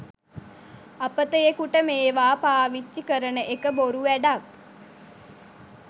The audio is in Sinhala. අපතයෙකුට මේවා පාවිච්චි කරන එක බොරු වැඩක්.